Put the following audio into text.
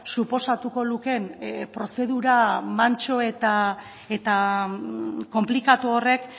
suposatuko lukeen prozedura mantso eta konplikatu horrek